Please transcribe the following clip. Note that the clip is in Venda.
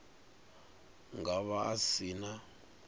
nga vha a si na